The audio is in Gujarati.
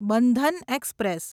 બંધન એક્સપ્રેસ